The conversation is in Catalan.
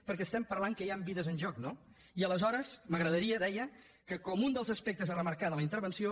perquè estem parlant que hi han vides en joc no i aleshores m’agradaria deia que com un dels aspectes a remarcar de la intervenció